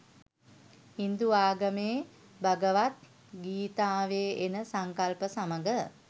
හින්දු ආගමේ භගවත් ගීතාවේ එන සංකල්ප සමග